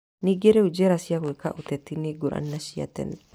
Ningĩ rĩu njĩra cia gwĩka ũteti nĩ ngũrani na cia tene.